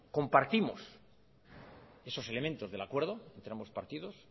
compartimos esos elementos del acuerdo entre ambos partidos